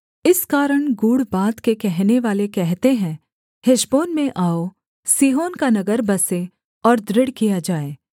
इस कारण गूढ़ बात के कहनेवाले कहते हैं हेशबोन में आओ सीहोन का नगर बसे और दृढ़ किया जाए